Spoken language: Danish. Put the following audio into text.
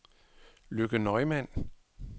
Lykke Neumann